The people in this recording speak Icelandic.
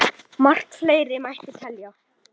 Margt fleira mætti telja.